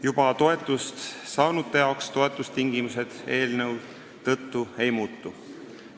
Juba toetust saanute jaoks toetustingimused eelnõu tõttu ei muutu.